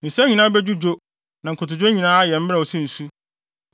Nsa nyinaa bedwudwo na nkotodwe nyinaa ayɛ mmrɛw sɛ nsu.